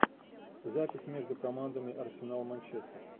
запись между командами арсенал манчестер